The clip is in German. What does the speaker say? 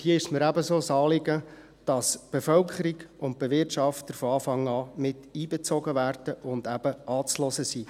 Hier ist es mir ebenso ein Anliegen, dass die Bevölkerung und die Bewirtschafter von Anfang an einbezogen werden und anzuhören sind.